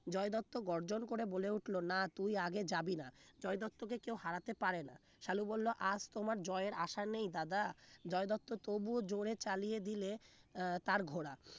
জয় দত্ত গর্জন করে বলে উঠলো না তুই আগে যাবি না জয় দত্তকে কেউ হারাতে পারে না সালু বললো আর তোমার জয়ের আশা নেই দাদা জয় দত্ত তবুও জোরে চালিয়ে দিলে আহ তার ঘোড়া